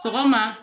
Sɔgɔma